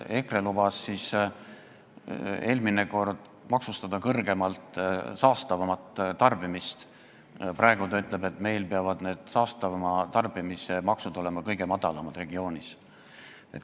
Seesama EKRE lubas eelmine kord saastavamat tarbimist kõrgemalt maksustada, praegu ta ütleb, et saastavama tarbimise maksud peavad meil olema kõige madalamad regioonis.